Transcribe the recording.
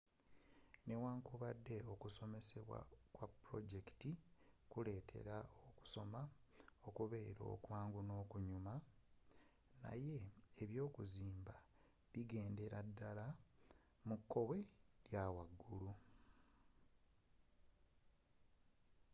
newankubadde okusomesebwa kwa pulojekiti kuleetera okusoma okubeera okwangu n'okunyuma naye ebyokuzimba bigendera ddala mu kkowe lya waggulu